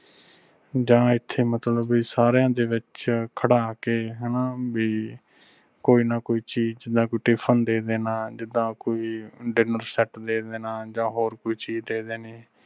ਜਾ ਐਥੇ ਮਤਲਬ ਵੀ ਸਾਰਿਆਂ ਦੇ ਵਿਚ ਖੜਾ ਕੇ ਹਣਾ ਵੀ ਕੋਈ ਨਾਂ ਕੋਈ ਚੀਜ ਜਾ ਕੋਈ tiffin ਦੇ ਦੇਣਾ ਜਿਦਾਂ ਕੋਈ diner set ਦੇ ਦੇਣਾ ਜਾ ਹੋਰ ਕੋਈ ਚੀਜ ਦੇ ਦੇਣੀ।